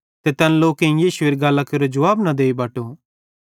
ते तैन लोकेईं यीशुएरी गल्लां केरो जुवाब न देई बटो